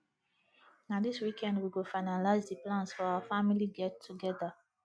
na dis weekend we go finalize the plans for our family get togeda